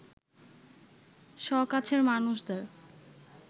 সকাছের মানুষ’দের